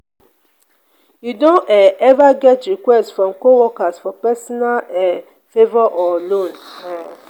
you don um ever get request request from co-worker for personal um favor or loan? um